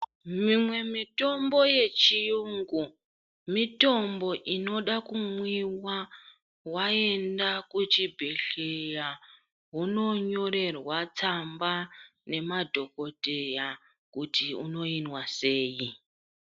Mimwe mitombo yechiyungu mitombo inoda kumwiwa waenda kuchibhedleya wononyorerwa tsamba nemadhogodheya kuti unoyinwa seyi.